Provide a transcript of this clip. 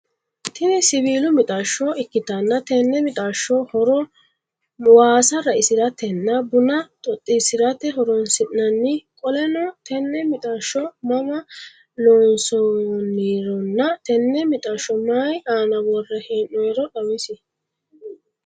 Tini siwiilu mixashsho ikkitanna tenne mixashsho horo waasa raisiratenna buna xoxiisirate horonsinanni qoleno tenne mixashsho mama loonssannironaa tenne mixashsho maayii aana worre heenooyiiro xawisie?